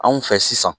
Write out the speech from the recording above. Anw fɛ sisan